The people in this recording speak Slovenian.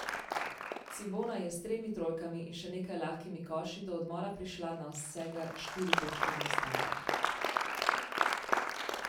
Cibona je s tremi trojkami in še nekaj lahkimi koši do odmora prišla na vsega štiri točke zaostanka.